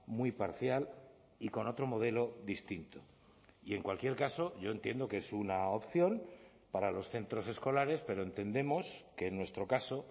muy parcial y con otro modelo distinto y en cualquier caso yo entiendo que es una opción para los centros escolares pero entendemos que en nuestro caso